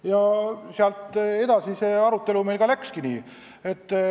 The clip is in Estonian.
Ja sealt edasi läks arutelu edasi.